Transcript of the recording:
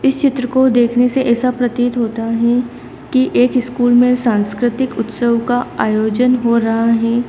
चित्र को देखने से ऐसा प्रतीत होता है कि एक स्कूल में सांस्कृतिक उत्सव का आयोजन हो रहा है।